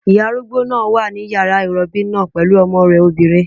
Ìyá arúgbó náà wà ní yàrá ìrọbí náà pẹ̀lú ọmọ rẹ̀ obìnrin